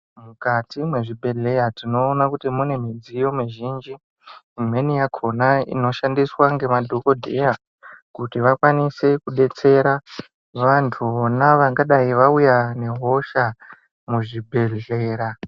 Mukati mwezvibhedhleya tinoona kuti mune midziyo mizhinji. Imweni yakhona inoshandiswa ngemadhokodheya, kuti vakwanise kubetsera vantu vona vangadai vauya nehosha muzvibhedhlera.